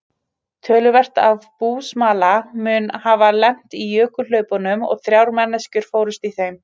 Töluvert af búsmala mun hafa lent í jökulhlaupunum og þrjár manneskjur fórust í þeim.